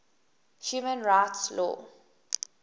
human rights law